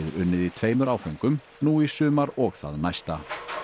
unnið í tveimur áföngum nú í sumar og það næsta